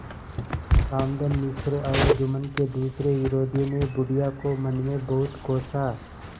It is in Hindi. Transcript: रामधन मिश्र और जुम्मन के दूसरे विरोधियों ने बुढ़िया को मन में बहुत कोसा